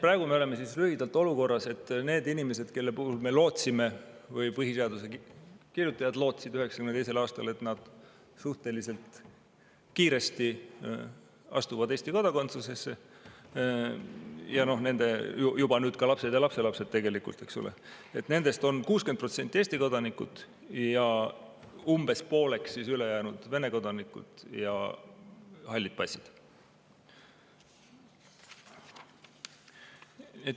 Praegu me oleme lühidalt öeldes olukorras, et nendest inimestest, kelle puhul me lootsime – või põhiseaduse kirjutajad lootsid 1992. aastal –, et nad suhteliselt kiiresti astuvad Eesti kodakondsusesse ja nende nüüd juba ka lapsed ja lapselapsed tegelikult, eks ole, on 60% Eesti kodanikud ja umbes pooleks siis ülejäänud Vene kodanikud ja halli passi omanikud.